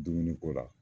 Dumuni ko la